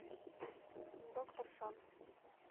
доктор шанс